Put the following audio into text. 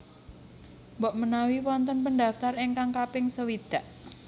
Mbok menawi wonten pendaftar ingkang kaping sewidak